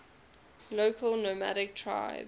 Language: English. local nomadic tribes